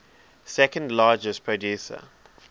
second largest producer